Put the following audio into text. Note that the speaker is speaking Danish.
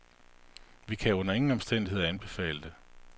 Vi kan under ingen omstændigheder anbefale det.